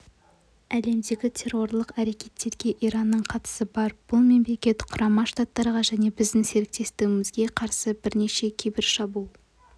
әлемдегі террорлық әрекеттерге иранның қатысы бар бұл мемлекет құрама штаттарға және біздің серіктестерімізге қарсы бірнеше кибершабуыл